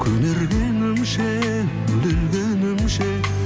көнергенімше өле өлгенімше